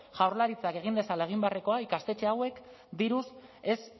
jaurlaritzak egin dezala egin beharrekoa ikastetxe hauek diruz ez